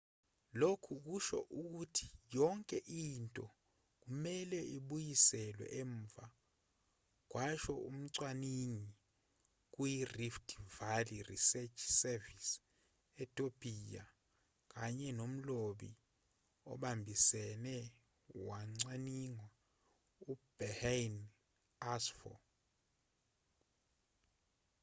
lokhu kusho ukuthi yonke into kumelwe ibuyiselwe emuva kwasho umcwaningi kuyirift valley research service etopiya kanye nomlobi obambisene wocwaningo uberhane asfaw